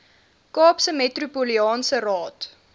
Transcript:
kaapse metropolitaanse raad